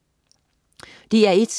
DR1: